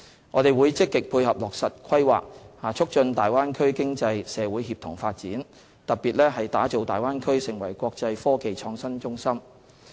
我們會積極配合落實《規劃》，促進大灣區經濟社會協同發展，特別是打造大灣區成為國際科技創新中心。